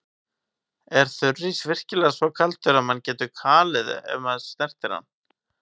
Er þurrís virkilega svo kaldur að mann getur kalið ef maður snertir hann?